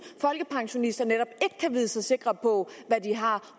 folkepensionister netop ikke kan vide sig sikre på hvad de har